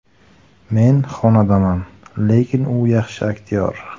Men xonandaman, lekin u yaxshi aktyor.